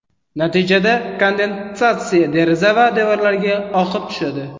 Natijada kondensatsiya deraza va devorlarga oqib tushadi.